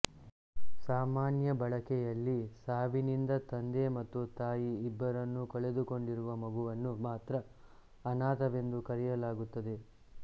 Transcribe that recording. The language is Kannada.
ಸಾಮಾನ್ಯ ಬಳಕೆಯಲ್ಲಿ ಸಾವಿನಿಂದ ತಂದೆ ಮತ್ತು ತಾಯಿ ಇಬ್ಬರನ್ನೂ ಕಳೆದುಕೊಡಿರುವ ಮಗುವನ್ನು ಮಾತ್ರ ಅನಾಥವೆಂದು ಕರೆಯಲಾಗುತ್ತದೆ